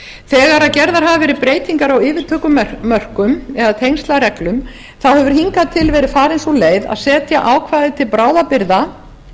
þegar gerðar hafa verið breytingar á yfirtökumörkum eða tengslareglum hefur hingað til verið farin sú leið að setja ákvæði til bráðabirgða